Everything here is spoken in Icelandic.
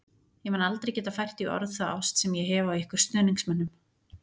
Ég mun aldrei geta fært í orð þá ást sem ég hef á ykkur stuðningsmönnum.